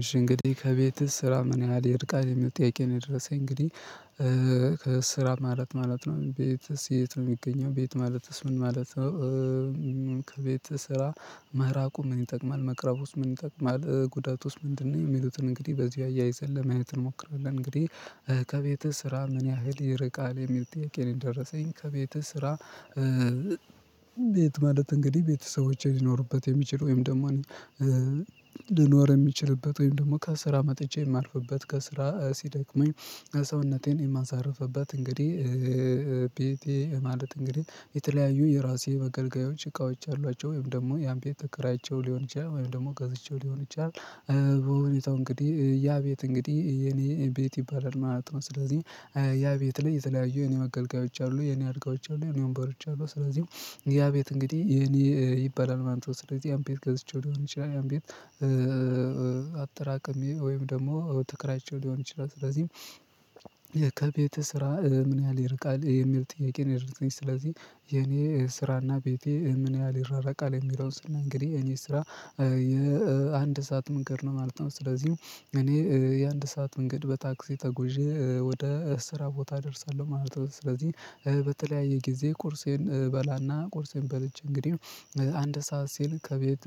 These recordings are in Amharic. እሺ እንግዲህ ከቤትህ ስራ ምን ያህል ይርቃል? የሚል ጥያቄ ነው የደረሰኝ እንግዲህ ከስራ ማለት ማለት ነው ቤት የት ነው የሚገኘው ቤት ማለትስ ምን ማለት ነው ከቤት ስራ መራቁ ምን ይጠቅማል መቅረቡስ ምን ይጠቅማል ጉዳት ውስጥ ምንድነው የሚሉትን እንግዲህ በዚህ አያይዘን ለማየት እንሞክራለን እንግዲህ ከቤትህ ስራ ምን ያህል ይርቃል? የሚል ጥያቄ ነው የደረሰኝ ከቤትህ ስራ ቤት ማለት እንግዲህ ቤተሰቦቼ ሊኖሩበት የሚችል ወይም ደማኔ ልኖር የምችልበት ወይም ደግሞ ከስራ መጥቼ የማርፍበት ከስራ ሲደክመኝ ሰውነቴን የማሳርፍበት እንግዲህ ማለት እንግዲህ የተለያዩ የራሴ መገልገያዎች እቃዎች አሏቸው ወይም ደግሞ ያን ቤት ተከራይቼው ሊሆን ይችላል ወይም ደግሞ ገዝቼው ሊሆን ይችላል በሁለቱ እንግዲህ ያ ቤት እንግዲህ የኔ ቤት ይባላል ማለት ነው ስለዚህ ያ ቤት ላይ የተለያዩ የኔ አገልጋዮች አሉ የኔ አድጋዮች አሉ የኔ ወንበሮች አሉ ስለዚህ ያ ቤት እንግዲህ የኔ ይባላል ማንበብ ስለዚህ ያን ቤት ገዝቼው ሊሆን ይችላል ያን ቤት አጠራቀሜ ወይም ደግሞ ትከራይቸው ሊሆን ይችላል ስለዚህ ስራ ምን ያህል ይርቃል የሚል ጥያቄ ነው የደረሰኝ ስለዚህ የኔ ስራና ቤቴ ምን ያህል ይራረቃል የሚለውን ስላ እንግዲህ እኔ ስራ የአንድ ሰዓት መንገድ ነው ማለት ነው ስለዚህም እኔ የአንድ ሰዓት መንገድ በታክሲ ተጉዤ ወደ እስራ ቦታ እደርሳለሁ ማለት ነው ስለዚህ በተለያየ ጊዜ ቁርሴን እበላና ቁርሴን በልቼ እንግዲህ አንድ ሰዓት ሲል ከቤት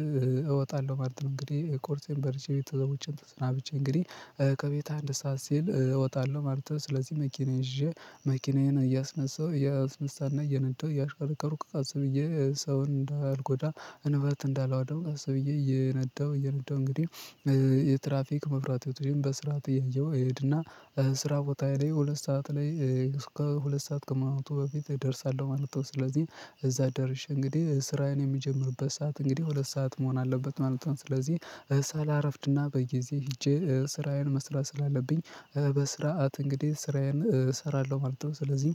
እወጣለሁ ማለት ነው እንግዲህ ቁርሴን በርቼ ቤተክርስቲያን ተስናብቼ እንግዲህ ከቤት አንድ ሰዓት ሲል እወጣለሁ ማለት ነው ስለዚህ መኪና ይዤ መኪናዬን እያስነሳው እያስነሳና እየነዳው እያሽከረከርኩ ቀስ ብዬ ሰው እንዳልኩት እንዳልጎዳ እንበት እንዳላወደው አስብዬ እየነጠው እየነጠው እንግዲህ የትራፊክ መብራት ወጥቼም በስራት ጥያቄው እሄድና ስራ ቦታ ላይ ሁለት ሰዓት ላይ ከሁለት ሰዓት ከማለቱ በፊት እደርሳለሁ ማለት ነው ስለዚህ እዛ ደርሼ እንግዲህ ስራዬን የሚጀምርበት ሰዓት እንግዲህ ሁለት ሰዓት መሆን አለበት ማለት ነው ስለዚህ ሳላረፍድና በጊዜ ሄጄ ስራዬን መስራት ስላለብኝ በስርዓት እንግዲህ ስራዬን እሰራለሁ ማለት ነው ስለዚህ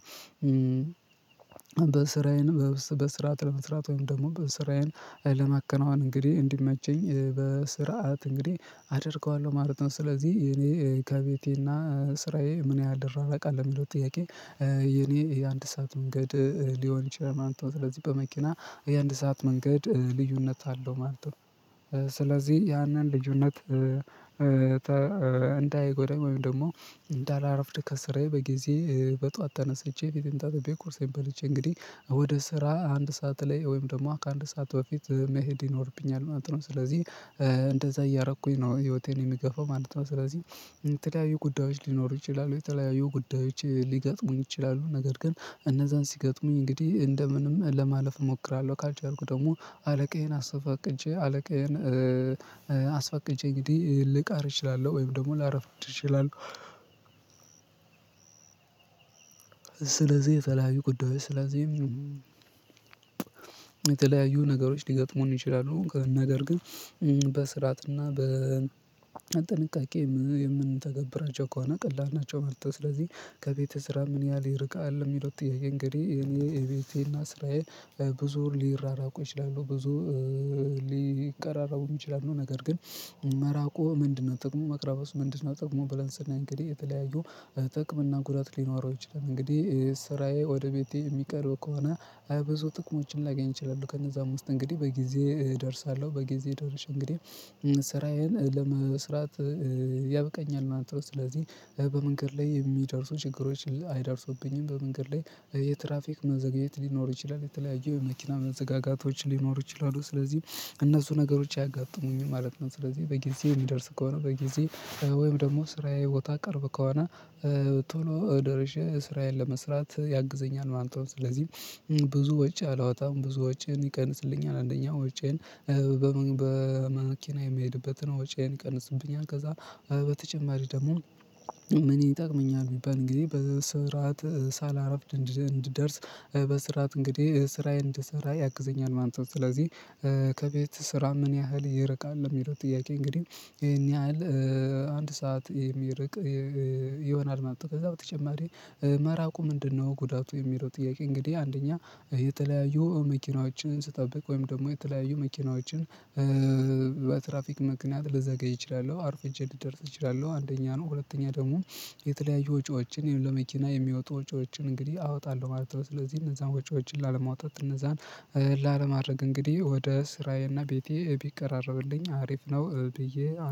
በስራዬን በስራት ለመስራት ወይም ደግሞ በስራዬን ለመከናወን እንግዲህ እንዲመቸኝ በስርዓት እንግዲህ አደርገዋለሁ ማለት ነው ስለዚህ የኔ ከቤቴና ስራዬ ምን ያደራራቃል የሚለው ጥያቄ የኔ የአንድ ሰዓት መንገድ ሊሆን ይችላል ማንተች ስለዚህ በመኪና የአንድ ሰዓት መንገድ ልዩነት አለው ማለት ነው ስለዚህ ያንን ልዩነት እንዳይጎዳም ወይም ደግሞ እንዳላረፍድ ከስራዬ በጊዜ በጧት ተነስቼ ቤት እጀን ታጥቤ ቁርሴን በልቼ እንግዲህ ወደ ስራ አንድ ሰዓት ላይ ወይም ደግሞ ከአንድ ሰዓት በፊት መሄድ ይኖርብኛል ማለት ነው ስለዚህ እንደዛ እያረኩኝ ነው ህይወቴን የሚገፋው ማለት ነው ስለዚህ ተለያዩ ጉዳዮች ሊኖሩ ይችላሉ የተለያዩ ጉዳዮች ሊገጥሙኝ ይችላሉ ነገር ግን እነዛን ሲገጥሙኝ እንግዲህ እንደምንም ለማለፍ እሞክራለሁ ካልቸርኩ ደግሞ አለቃዬን አስፋቅጬ አለቃዬን አስፈቅጄ እንግዲህ ልቃር እችላለሁ ወይም ደግሞ ላረፍድ እችላለሁ ስለዚህ የተለያዩ ጉዳዮች ስለዚህ የተለያዩ ነገሮች ሊገጥሙን ይችላሉ ከነገር ግን በስርዓትና በጥንቃቄ የምንተገብራቸው ከሆነ ቀላል ናቸው መርጠው ስለዚህ ከቤትህ ስራ ምን ያህል ይርቃል የሚለው ጥያቄ እንግዲህ የቤቴና ስራዬ ብዙ ሊራራቁ ይችላሉ ብዙ ሊቀራራቡ ይችላሉ ነገር ግን መራቁ ምንድነው ጥቅሙ መቅረብ ውስጥ ምንድነው ጥቅሙ ባለንስና እንግዲህ የተለያዩ እጥቅም እና ጉዳት ሊኖረው ይችላል እንግዲህ ስራዬ ወደ ቤቴ የሚቀርብ ከሆነ አብዛኛው ጥቅሞችን ላገኝ እችላለሁ ከነዛ አምስት እንግዲህ በጊዜ እደርሳለሁ በጊዜ ደርሼ እንግዲህ ስራዬን ለመስራት ያብቀኛል አንተ ስለዚህ በመንገድ ላይ የሚደርሱ ችግሮች አይደርሱብኝም በመንገድ ላይ የትራፊክ መዘግየት ሊኖር ይችላል የተለያዩ የመኪና መዘጋጋቶች ሊኖር ይችላሉ ስለዚህም እነሱ ነገሮች አያጋጥሙኝም ማለት ነው ስለዚህ በጊዜ የሚደርስ ከሆነ በጊዜ ወይም ደግሞ ስራዬ ቦታ ቀርብ ከሆነ ቶሎ ደርሸ ስራዬን ለመስራት ያግዘኛል ማለት ነው ስለዚህ ብዙ ወጪ አላወጣም ብዙ ወጪን ይቀንስልኛል አንደኛ ወጪየን በመኪና የምሄድበትን ወጪዬን ቀንስብኛል ከዛ በተጨማሪ ደግሞ ምን ይጠቅመኛል ቢባል ጊዜ በስርዓት ሳላረፍድ እንድደርስ በስራት እንግዲህ ስራዬን እንድሰራ ያግዘኛል ማንበብ ስለዚህ ከቤት ስራ ምን ያህል ይርቃል ለሚለው ጥያቄ እንግዲህ ይሄን ያህል አንድ ሰዓት የሚርቅ ይሆናል ማለት ከዛ በተጨማሪ መራቁ ምንድነው ጉዳቱ የሚለው ጥያቄ እንግዲህ አንደኛ የተለያዩ መኪናዎችን ስጠብቅ ወይም ደግሞ የተለያዩ መኪናዎችን በትራፊክ ምክንያት ልዘገይ እችላለሁ አርፍጄ ልደርስ እችላለሁ አንደኛ ነው ሁለተኛ ደግሞ የተለያዩ ወጪዎችን ይሄን ለመኪና የሚወጡ ወጪዎችን እንግዲህ አወጣለሁ ማለት ነው ስለዚህ እነዛን ወጪዎችን ላለማውጣት እነዛን ላለማድረግ እንግዲህ ወደ ስራዬና ቤቴ ቢቀራረብልኝ አሪፍ ነው ብዬ